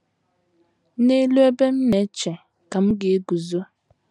“ N’ELU ebe m na - eche ka m ga - eguzo. ”